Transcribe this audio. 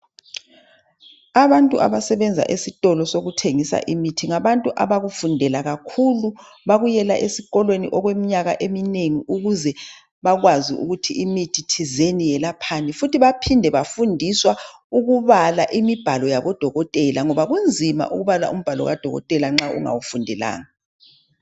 Abantu abasebenza esitolo sokuthengisa imithi ngabantu abakufundela kakhulu bakuyela esikolweni okweminyaka eminengi ukuze bakwazi ukuthi imithi thizeni yelaphani. Futhi baphinda bafundiswa ukubala imibhalo yabo dokotela ngoba kunzima ukubala umbhala kadokotela nxa ungawufundelanga.